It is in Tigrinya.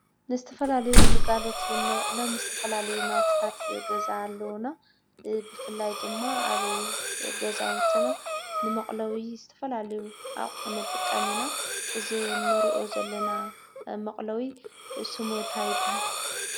ንዝተፈላለዩ ግልጋሎት ነውዕሎም ዝተፈላለዩ ናውቲታት ገዛ አለውና። ብፍላይ ድማ አብ ገዛውትና ንመቅለዊ ዝተፈላለዩ አቑሑ ንጥቀም ኢ። ና እዚ ንሪኦ ዘለና መቅለዊ ስሙ እንታይ ይበሃል?